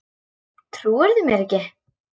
Trúirðu mér ekki?